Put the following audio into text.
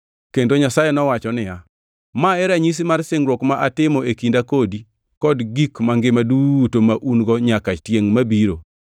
Kendo Nyasaye nowacho niya, “Ma e ranyisi mar singruok ma atimo e kinda kodi kod gik mangima duto maun-go nyaka tiengʼ mabiro.